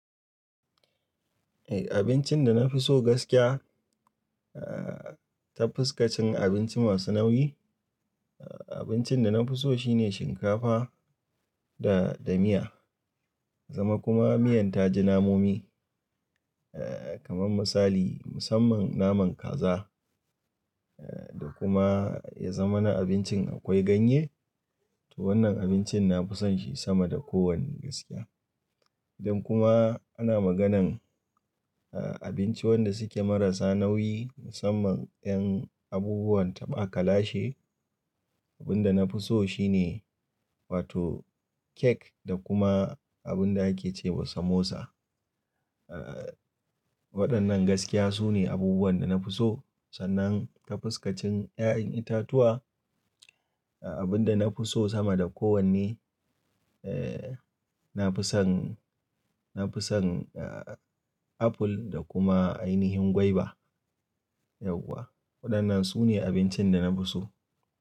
Eh, abincin da na fi so gaskiya, eh, ta fuskacin abinci masu nauyi, abincin da na fi so shine shinkafa da, da miya. Zama kuma miyan ta ji namomi, eh, kamar misali, musamman naman kaza, eh, da kuma ya zama na abincin akwai ganye, to wannan abincin na fi son shi sama da kowanne gaskiya. Idan kuma ana maganan, eh, abinci wanda suke marasa nauyi musamman 'yan abubuwan taɓa kalashe, abinda na fi so shine wato kek da kuma abinda ake ce wa samosa. Eh, waɗannan gaskiya sune abubuwan da na fi so. Sannan ta fuskacin 'ya'yan itatuwa, abinda na fi so sama da kowanne, eh, na fi son, na fi son, eh, apple da kuma ainihin gwaiba. Yauwa waɗannan su ne abincin da na fi so.